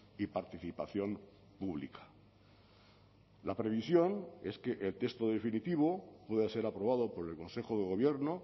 y participación pública la previsión es que el texto definitivo pueda ser aprobado por el consejo de gobierno